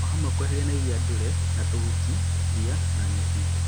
O hamwe na kweheria iria ndũre na tũhuti, ria na nyeki